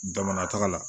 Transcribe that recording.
Damanta la